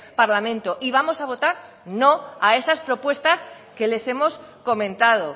parlamento y vamos a votar no a estas propuestas que les hemos comentado